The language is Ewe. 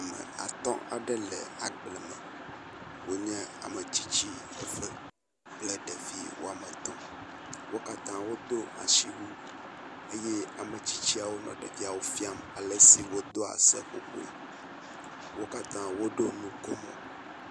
Ame atɔ̃ aɖe le agbe me wonye ame tsitsi eve kple ɖevi wɔme etɔ̃. Wo katã wodo asiwu eye ametsitswo nɔ ɖevia wo fiam ale si wodoa seƒoƒoe. Wo katã woɖo nu komo.